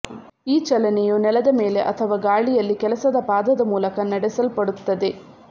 ಈ ಚಲನೆಯು ನೆಲದ ಮೇಲೆ ಅಥವಾ ಗಾಳಿಯಲ್ಲಿ ಕೆಲಸದ ಪಾದದ ಮೂಲಕ ನಡೆಸಲ್ಪಡುತ್ತದೆ